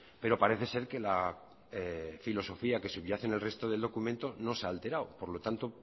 pero parece ser que la filosofía que subyace en el resto del documento no se ha alterado por lo tanto